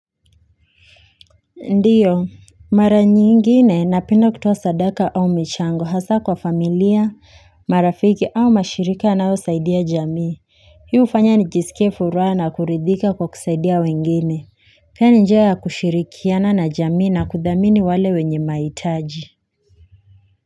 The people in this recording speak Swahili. Ndiyo mara nyingine napenda kutowa sadaka au michango hasa kwa familia marafiki au mashirika nao usaidia jamii hii ufanya nijisike fura na kuridhika kwa kusaidia wengine kani njia ya kushirikiana na jamii na kuthamini wale wenye maitaji.